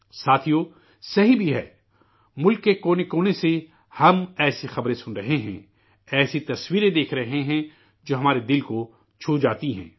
ساتھیو درست بھی ہے، ملک کے گوشے گوشے سے، ہم، ایسی خبریں سن رہے ہیں، ایسی تصویریں دیکھ رہے ہیں جو ہمارے دل کو چھو جاتی ہیں